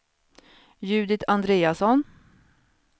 Judit Andreasson